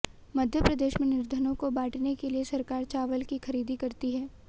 मध्यप्रदेश में निर्धनों को बांटने के लिए सरकार चावल की खरीदी करती है